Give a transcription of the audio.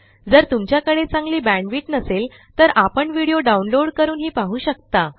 जर तुमच्याकडे चांगली बॅण्डविड्थ नसेल तर आपण व्हिडिओ डाउनलोड करूनही पाहू शकता